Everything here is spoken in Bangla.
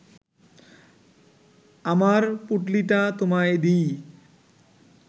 আমার পুঁটলিটা তোমায় দিই